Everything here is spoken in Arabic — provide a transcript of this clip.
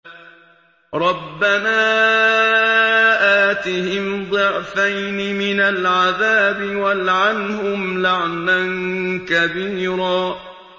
رَبَّنَا آتِهِمْ ضِعْفَيْنِ مِنَ الْعَذَابِ وَالْعَنْهُمْ لَعْنًا كَبِيرًا